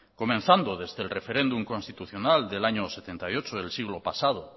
comenzando desde el referéndum constitucional del año setenta y ocho del siglo pasado